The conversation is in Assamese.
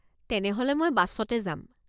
তেনেহ'লে মই বাছতে যাম।